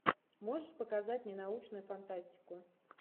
можешь показать мне научную фантастику